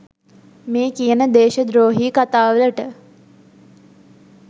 මේ කියන දේශද්‍රෝහී කතා වලට.